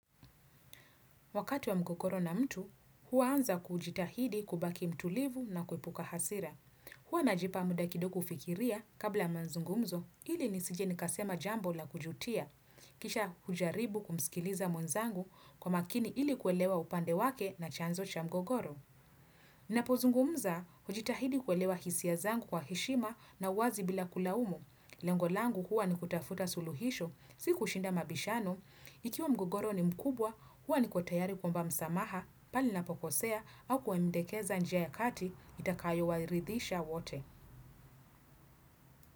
Wakati wa mgogoro na mtu, huanza kujitahidi kubaki mtulivu na kuepuka hasira. Huwa najipa muda kidogo ku fikiria kabla ya manzungumzo ili nisije nikasema jambo la kujutia. Kisha hujaribu kumsikiliza mwenzangu kwa makini ili kuelewa upande wake na chanzo cha mgogoro. Na pozungumza, hujitahidi kuelewa hisia zangu wa heshima na uwazi bila kulaumu. Lengolangu huwa ni kutafuta suluhisho, si kushinda mabishano. Ikiwa mgogoro ni mkubwa, huwa ni ko tayari kuomba msamaha pale nina pokosea au kuwa mdekeza njia ya kati itakayo waridhisha wote.